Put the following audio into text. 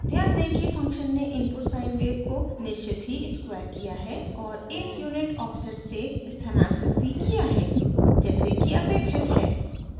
ध्यान दें कि फ़ंक्शन ने इनपुट sine wave को निश्चित ही स्क्वायर किया है और १ यूनिट ऑफसेट से स्थानांतरित भी किया है जैसे कि अपेक्षित है